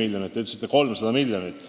miljonit, teie mainisite 300 miljonit.